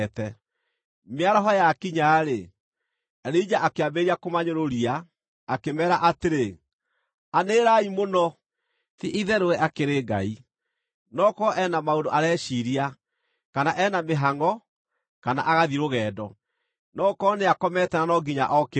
Mĩaraho yakinya-rĩ, Elija akĩambĩrĩria kũmanyũrũria, akĩmeera atĩrĩ, “Anĩrĩrai mũno! Ti-itherũ we akĩrĩ ngai! No gũkorwo e na maũndũ areciiria, kana e na mĩhangʼo, kana agathiĩ rũgendo. No gũkorwo nĩakomete na no nginya okĩrio.”